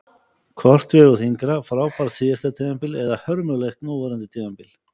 Hvort vegur þyngra, frábært síðasta tímabil eða hörmulegt núverandi tímabil?